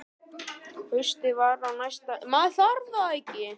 Haustið var á næsta leiti.